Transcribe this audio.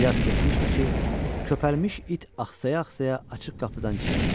Bir az keçmişdi ki, köpəlmiş it axsaya-axsaya açıq qapıdan içəri girdi.